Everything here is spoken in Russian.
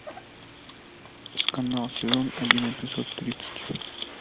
скандал сезон один эпизод тридцать